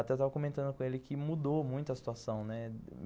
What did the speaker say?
Até estava comentando com ele que mudou muito a situação, né.